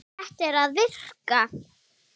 Þetta er að virka.